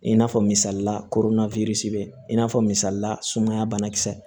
I n'a fɔ misalila koroa i n'a fɔ misalila sumaya banakisɛ